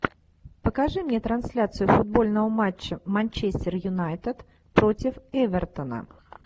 покажи мне трансляцию футбольного матча манчестер юнайтед против эвертона